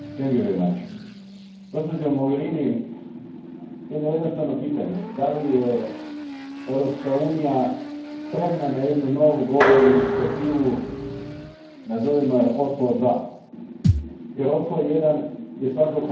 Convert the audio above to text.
Gospođo Mogherini, imam jedno jednostavno pitanje je li Europska unija spremna na jednu novu globalnu inicijativu, nazovimo je Oslo II, jer Oslo I je svakako dalo veliku nadu?